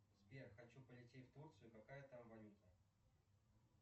сбер хочу полететь в турцию какая там валюта